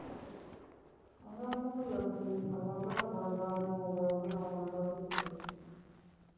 ਆਹੋ ਉਹ ਕੁੜੀ ਨੂੰ ਫਾਇਦਾ ਹੋ ਗਿਆ ਉਹ ਨੂੰ ਤਾਂ ਕੋਈ ਗੱਲ ਨਹੀ ਹੋ ਗਿਆ ਹੋ ਗਿਆ ਨਾ ਹੋਇਆ ਤਾਂ ਵੀ ਕੋਈ ਗੱਲ ਨਹੀ